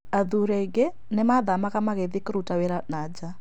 Athuri aingĩ nĩmathamaga magathie kũruta wĩra na nja